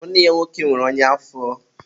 nwanne ya nwoke nwere ọnya afọ.